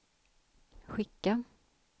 skicka